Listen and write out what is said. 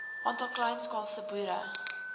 aantal kleinskaalse boere